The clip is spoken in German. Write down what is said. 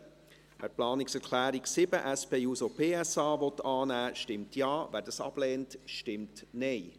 Wer die Planungserklärung 7, SP-JUSO-PSA, annehmen will, stimmt Ja, wer dies ablehnt, stimmt Nein.